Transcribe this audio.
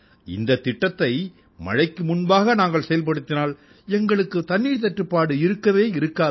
இந்தத் திட்டத்தை மழைக்கு முன்பாக நாங்கள் செயல்படுத்தினால் எங்களுக்குத் தண்ணீர்த் தட்டுப்பாடு இருக்கவே இருக்காது